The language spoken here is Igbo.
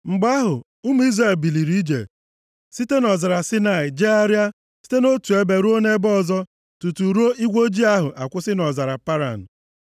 Mgbe ahụ, ụmụ Izrel biliri ije site nʼọzara Saịnaị jegharịa site nʼotu ebe ruo nʼebe ọzọ tutu igwe ojii ahụ akwụsị nʼọzara Paran.